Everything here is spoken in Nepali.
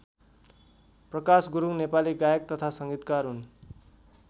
प्रकाश गुरुङ नेपाली गायक तथा सङ्गीतकार हुन्।